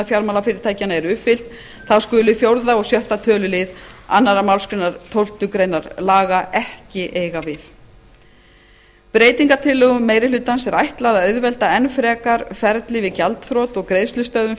fjármálafyrirtækjanna eru uppfyllt þá skuli fjórða og sjötta töluliðir annarri málsgrein tólftu grein laga ekki eiga við breytingartillögum meiri hlutans er ætlað að auðvelda enn frekar ferlið við gjaldþrot og greiðslustöðvun